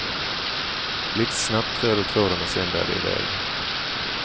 Blixtsnabbt trär du tråden och sen bär det i väg.